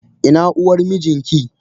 Ina uwar mijinki?